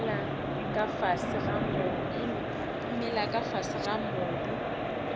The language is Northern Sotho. mela ka fase ga mobu